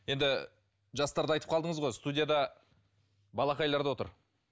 енді жастарды айтып қалдаңыз ғой студияда балақайлар да отыр